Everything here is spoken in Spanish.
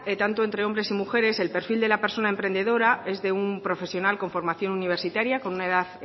tanto entre hombre y mujeres el perfil de la persona emprendedora es de un profesional con formación universitaria con una edad